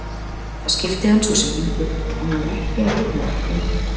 Það skipti hann svo sem engu og hann var ekki að reyna að vera fyndinn.